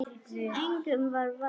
Engum var vægt.